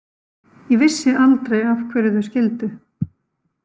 Ég vissi aldrei af hverju þau skildu.